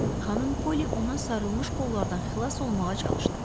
Xanım Poli ona sarılmış qollardan xilas olmağa çalışdı.